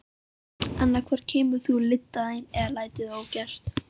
Annað hvort kemur þú lyddan þín eða lætur það ógert.